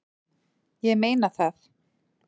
Ég meina það!